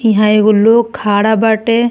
इहां एगो लोग खड़ा बाटे।